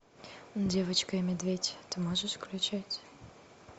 девочка и медведь ты можешь включить